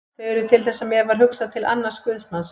Þau urðu til þess að mér varð hugsað til annars guðsmanns.